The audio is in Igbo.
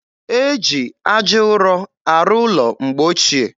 E ji aja ụrọ arụ ụlọ mgbe ochie